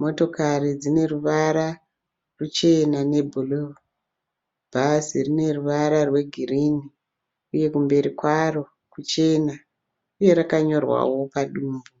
Motokari dzineruvara ruchena nebhuruu. Bhazi rine ruvara rwegirini uye kumberi kwaro kuchena uye rakanyorwawo padumbu.